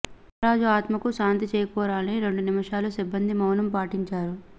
కామరాజు ఆత్మకు శాంతి చేకూరాలని రెండు నిమిషాలు సిబ్బంది మౌనం పాటించారు